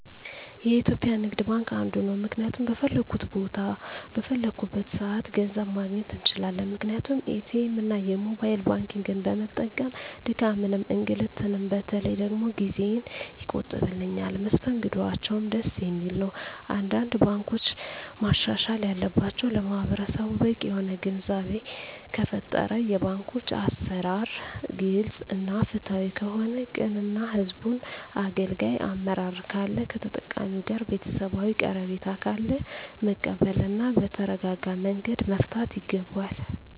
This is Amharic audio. የኢትዩጲያ ንግድባንክ አንዱ ነዉ ምክንያቱም በፈለኩት ቦታ በፈለኩበት ሰአት ገንዘብ ማግኘት እንችላለን ምክንያቱም ኢትኤምእና የሞባይል ባንኪግን በመጠቀም ድካምንም እንግልትም በተለይ ደግሞ ጊዜየን ይቆጥብልኛል መስተንግዶአቸዉም ደስ የሚል ነዉ አንዳንድ ባንኮች ማሻሻል ያለባቸዉ ለማህበረሰቡ በቂ የሆነ ግንዛቤ ከተፈጠረ የባንኮች አሰራር ግልፅ እና ፍትሀዊ ከሆነ ቅን እና ህዝቡን አገልጋይ አመራር ካለ ከተጠቃሚዉ ጋር ቤተሰባዊ ቀረቤታ ካለ መቀበል እና በተረጋጋመንገድ መፍታት ይገባል